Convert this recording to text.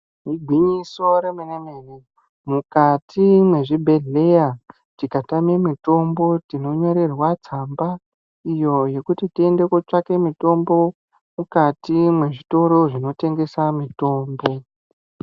Igwinyiso remene mene mukati mezvibhedhlera tikatama mitombo tinonyorerwa tsamba iyo yekuti titsvake mitombo mukati mezvitoro zvinotengesa mitombo.